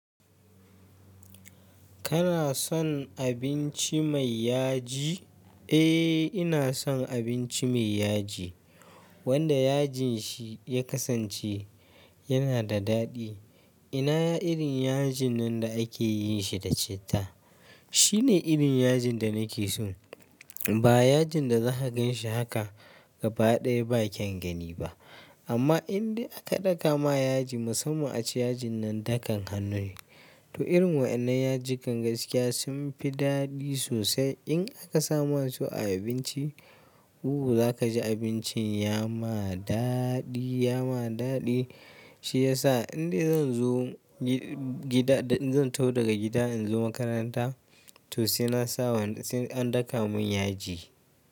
Kana son abinci mai yaji? Eh, ina son abinci mai yaji. Wanda yajin shi ya kasance yana da daɗi. Ina irin yajin nan da ake yin shi da citta. Shine irin yajin da nake so. Ba yajin da za ka ganshi haka gaba ɗaya ba kyan gani ba. Amma indai aka ɗaka ma yaji musamman a ci yajin nan dakan hannu ne. To irin waɗannan yaji kan gaskiya sun fi daɗi sosai. In aka sama su a abinci, uwa za ka ji abincin ya ma daɗi, ya ma daɗi. Shi ya sa indai zan zo gida, zan tau daga gida in zo makaranta. To sai na saba an ɗaka mun yaji.